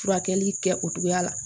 Furakɛli kɛ o togoya la